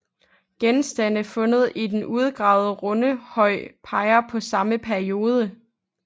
Genstande fundet i den udgravede rundhøj peger på samme periode